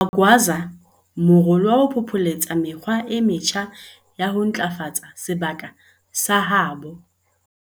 Magwaza morolo wa ho phopholetsa mekgwa e metjha ya ho ntlafatsa sebaka sa habo.